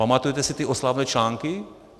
Pamatujete si ty oslavné články?